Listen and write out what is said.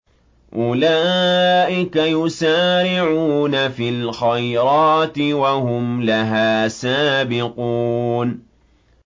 أُولَٰئِكَ يُسَارِعُونَ فِي الْخَيْرَاتِ وَهُمْ لَهَا سَابِقُونَ